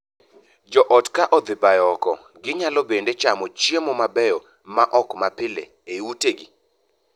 Joot ka odhi bayo oko, ginyalo bende chamo chiemo mabeyo ma ok ma pile ei utegi.